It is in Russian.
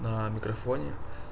на микрофоне